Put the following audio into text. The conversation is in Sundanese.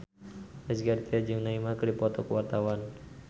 Rezky Aditya jeung Neymar keur dipoto ku wartawan